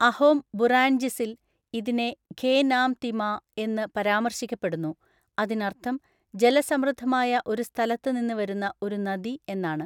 അഹോം ബുറാൻജിസിൽ, ഇതിനെ ഖേ നാം തി മാ എന്ന് പരാമർശിക്കപ്പെടുന്നു, അതിനർത്ഥം ജലസമൃദ്ധമായ ഒരു സ്ഥലത്ത് നിന്ന് വരുന്ന ഒരു നദി എന്നാണ്.